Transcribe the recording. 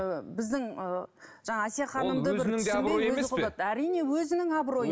ы біздің ы жаңағы әсия ол өзінің де абыройы емес пе әрине өзінің абыройы